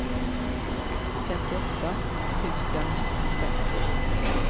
femtioåtta tusen femtio